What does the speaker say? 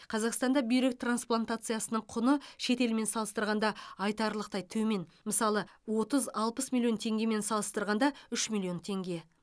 қазақстанда бүйрек трансплантациясының құны шетелмен салыстырғанда айтарлықтай төмен мысалы отыз алпыс миллион теңгемен салыстырғанда үш миллион теңге